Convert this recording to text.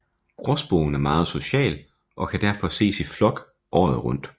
Gråspurven er meget social og kan derfor ses i flok året rundt